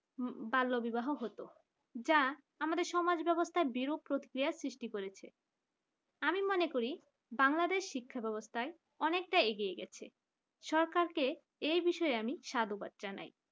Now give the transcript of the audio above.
বাল্যবিবাহ হতো যা আমাদের সমাজ ব্যবস্থার বিরূপ প্রক্রিয়া সৃষ্টি করেছে আমি মনে করি বাংলাদেশ শিক্ষা ব্যবস্থায় অনেকটা এগিয়ে গেছে সরকারকে এই বিষয়ে আমি সাধুবাদ জানাই